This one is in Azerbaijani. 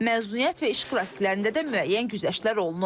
Məzuniyyət və iş qrafiklərində də müəyyən güzəştlər olunur.